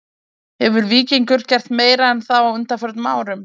Hefur Víkingur gert meira en það á undanförnum árum??